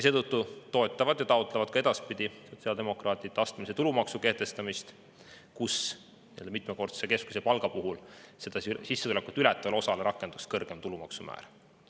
Seetõttu toetavad ja taotlevad sotsiaaldemokraadid ka edaspidi astmelise tulumaksu kehtestamist, mille kohaselt rakenduks mitmekordse keskmise palga puhul sissetulekut ületavale osale kõrgem tulumaksu määr.